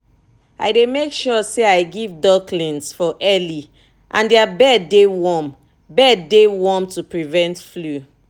i dey make sure say i give ducklings for early and their bed dey warm bed dey warm to prevent flu.